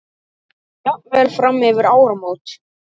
Jafnvel fram yfir áramót.